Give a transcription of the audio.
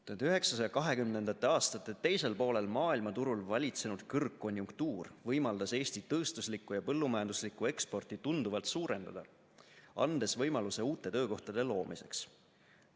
1920. aastate teisel poolel maailmaturul valitsenud kõrgkonjunktuur võimaldas Eesti tööstuslikku ja põllumajanduslikku eksporti tunduvalt suurendada, andes võimaluse uute töökohtade loomiseks.